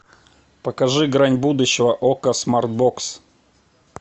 покажи грань будущего окко смарт бокс